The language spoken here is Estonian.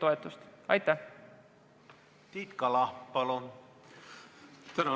Tiit Kala, palun!